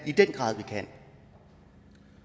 i den grad